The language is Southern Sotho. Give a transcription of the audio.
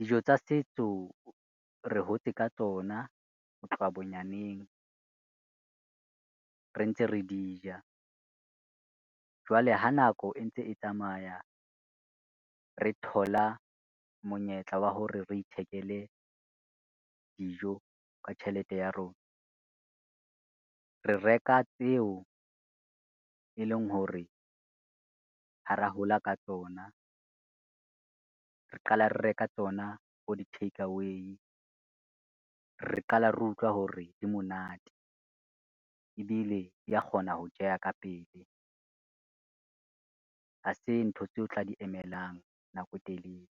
Dijo tsa setso re hotse ka tsona ho tloha bonyaneng re ntse re di ja, jwale ha nako e ntse e tsamaya, re thola monyetla wa hore re ithekele dijo ka tjhelete ya rona, re reka tseo e leng hore ha ra hola ka tsona re qala re reka tsona bo di-takeaway. Re qala re utlwa hore di monate, ebile di ya kgona ho jeha ka pele ha se ntho tseo tla di emelang nako e telele.